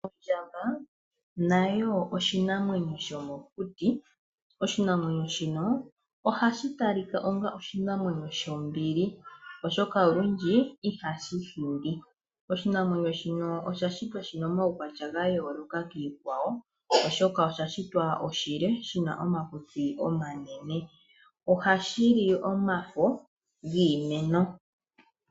Ondjamba nayo oshinamwenyo shomokuti. Oshinamwenyo shika ohashi tali ka onga oshinamwenyo shombili, oshoka olundji ihashi hindi. Oshinamwenyo shika osha shitwa shi na omaukwatya ga yooloka kiinamwenyo iikwawo, oshoka osha shitwa oshinene shi na omakutsi omanene. Ohashi li omafo giimeno.